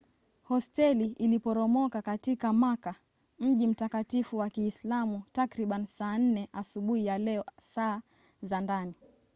hosteli iliporomoka katika makka mji mtakatifu wa kiislamu takriban saa 4 asubuhi ya leo saa za ndani